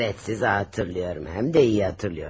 Aa, bəli, sizi xatırlayıram, həm də yaxşı xatırlayıram.